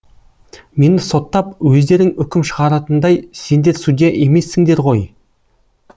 мені соттап өздерің үкім шығаратындай сендер судья емессіңдер ғой